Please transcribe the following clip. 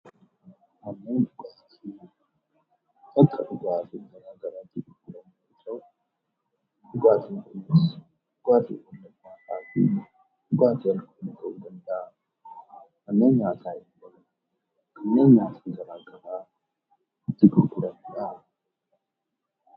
Manneen dhugaatii bakka dhugaatiiwwan garaagaraa itti argaman yoo ta'u, dhugaatiiwwan kan nama macheessanii fi hin macheessine ta'uu danda'u. Manneen nyaataa immoo bakka nyaati itti gurguramudha.